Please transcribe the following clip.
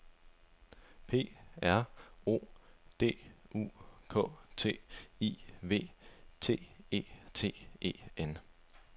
P R O D U K T I V I T E T E N